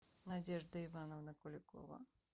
надежда ивановна куликова